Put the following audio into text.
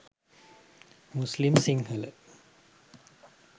muslim sinhala